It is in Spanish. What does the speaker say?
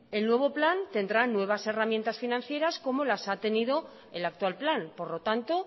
el nuevo plan tendrá nuevas herramientas financieras como las ha tenido el actual plan por lo tanto